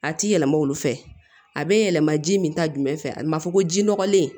A ti yɛlɛma olu fɛ a be yɛlɛma ji min ta jumɛn fɛ a ma fɔ ko ji nɔgɔlen